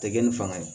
Tɛ kɛ ni fanga ye